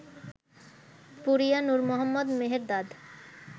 Puriya Nour Mohammad Mehrdad